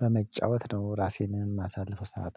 በመጫወት ነው። ራሴንም የማሳልፈው ሰዓት